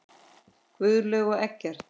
Guðlaug og Eggert.